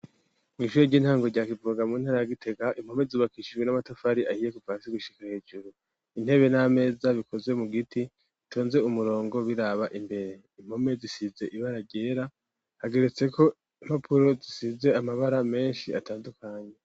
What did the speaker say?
Mw'ishure ry'intango rya kiprogamu intara ya gitega impome zubakishijwe n'amatafari ahiye kupasi gushika hejuru intebe n'ameza bikozwe mu giti tonze umurongo biraba imbere impome zisize ibaragera hageretse ko impapuro zisize amabara menshi atandukanye.